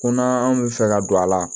Konan anw bɛ fɛ ka don a la